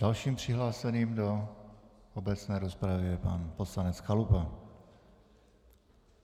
Dalším přihlášeným do obecné rozpravy je pan poslanec Chalupa.